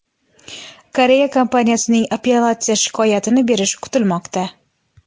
Koreya kompaniyasining apellyatsiya shikoyatini berishi kutilmoqda.